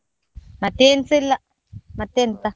ಮತ್ತೆ ಎನ್ಸ ಇಲ್ಲ, ಮತ್ತೆಂತ.